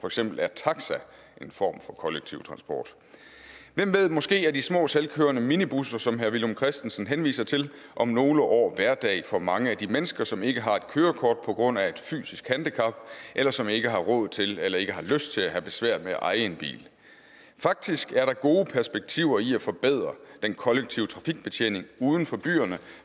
eksempel er taxa en form for kollektiv transport hvem ved måske er de små selvkørende minibusser som herre villum christensen henviser til om nogle år hverdag for mange af de mennesker som ikke har et kørekort på grund af et fysisk handicap eller som ikke har råd til eller ikke har lyst til at have besvær med at eje en bil faktisk er der gode perspektiver i at forbedre den kollektive trafikbetjening uden for byerne